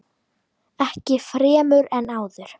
Ekki fremur en áður.